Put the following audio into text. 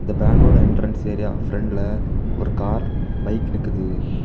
இந்த பேங்கோட entrance area பிரண்ட்ல ஒரு கார் பைக் நிக்குது.